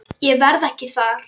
Ég verð ekki þar.